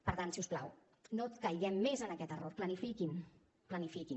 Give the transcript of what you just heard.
per tant si us plau no caiguem més en aquest error planifiquin planifiquin